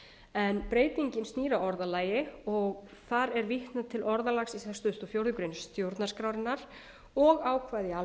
en breytingin snýr að orðalagi og þar er vitnað til orðalagsins samanber fjórðu grein stjórnarskrárinnar og ákvæði í almennum